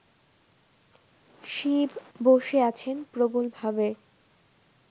শিব বসে আছেন প্রবলভাবে